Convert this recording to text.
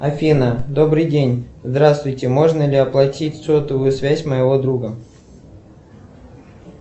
афина добрый день здравствуйте можно ли оплатить сотовую связь моего друга